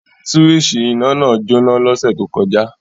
Súwísì iná náà jóná l'ọ́ṣẹ̀ tó kọjá